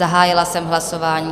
Zahájila jsem hlasování.